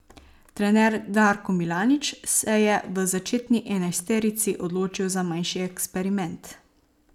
Trener Darko Milanič se je v začetni enajsterici odločil za manjši eksperiment.